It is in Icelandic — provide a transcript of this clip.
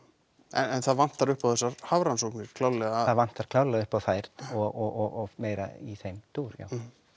en það vantar upp á þessar hafrannsóknir klárlega það vantar klárlega upp á þær og meira í þeim dúr já